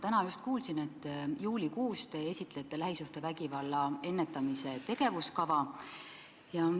Täna ma kuulsin, et juulikuus te esitlete lähisuhtevägivalla ennetamise tegevuskava.